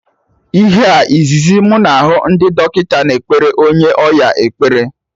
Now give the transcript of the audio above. Ihe a izizi mụ na hụ ka ndị dọkịta na ekpere onye ọya ekpere